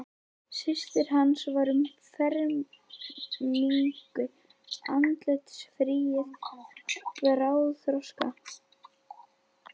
Systir hans var um fermingu, andlitsfríð og bráðþroska.